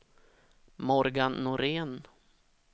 Morgan Norén